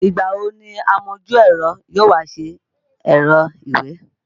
Ìgbà wo ni amojú-ẹ̀rọ yóò wá ṣe ẹ̀rọ ìwé?